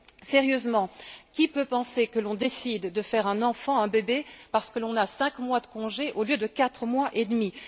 Sérieusement, qui peut penser que l'on décide de faire un enfant, un bébé, pour bénéficier de cinq mois de congé au lieu de quatre mois et demi?